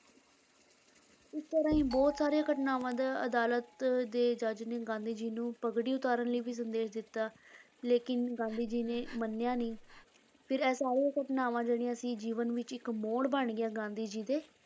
ਇਸੇ ਤਰ੍ਹਾਂ ਹੀ ਬਹੁਤ ਸਾਰੀਆਂ ਘਟਨਾਵਾਂ ਦਾ ਅਦਾਲਤ ਦੇ ਜੱਜ ਨੇ ਗਾਂਧੀ ਜੀ ਨੂੰ ਪੱਗੜੀ ਉਤਾਰਨ ਲਈ ਵੀ ਸੰਦੇਸ਼ ਦਿੱਤਾ ਲੇਕਿੰਨ ਗਾਂਧੀ ਜੀ ਨੇ ਮੰਨਿਆ ਨੀ ਫਿਰ ਇਹ ਸਾਰੀਆਂ ਘਟਨਾਵਾਂ ਜਿਹੜੀਆਂ ਸੀ, ਜੀਵਨ ਵਿੱਚ ਇੱਕ ਮੋੜ ਬਣ ਗਈਆਂ ਗਾਂਧੀ ਜੀ ਦੇ